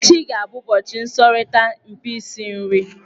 Echi ga-abụ ụbọchị nsọrita mpi isi nri.